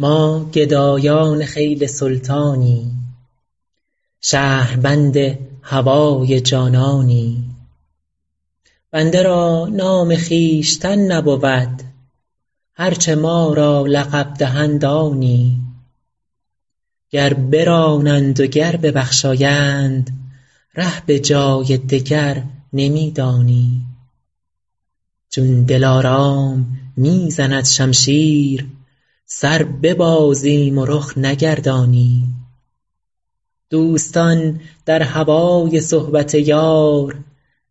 ما گدایان خیل سلطانیم شهربند هوای جانانیم بنده را نام خویشتن نبود هر چه ما را لقب دهند آنیم گر برانند و گر ببخشایند ره به جای دگر نمی دانیم چون دلارام می زند شمشیر سر ببازیم و رخ نگردانیم دوستان در هوای صحبت یار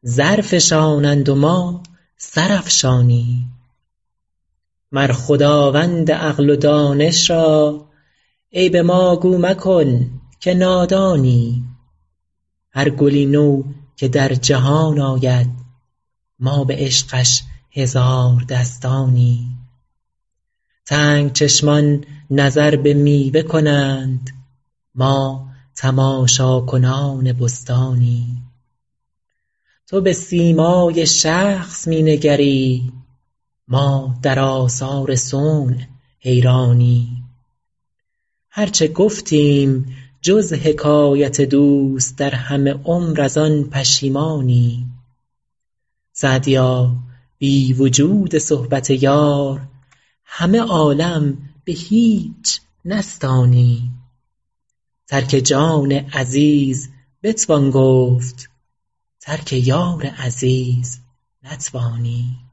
زر فشانند و ما سر افشانیم مر خداوند عقل و دانش را عیب ما گو مکن که نادانیم هر گلی نو که در جهان آید ما به عشقش هزار دستانیم تنگ چشمان نظر به میوه کنند ما تماشاکنان بستانیم تو به سیمای شخص می نگری ما در آثار صنع حیرانیم هر چه گفتیم جز حکایت دوست در همه عمر از آن پشیمانیم سعدیا بی وجود صحبت یار همه عالم به هیچ نستانیم ترک جان عزیز بتوان گفت ترک یار عزیز نتوانیم